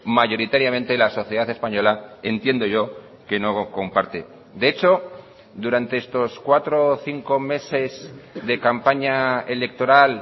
mayoritariamente la sociedad española entiendo yo que no comparte de hecho durante estos cuatro o cinco meses de campaña electoral